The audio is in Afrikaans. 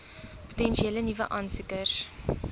potensiële nuwe aansoekers